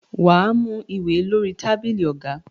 Wà á mú ìwé lórí tábìlì ọ̀gá.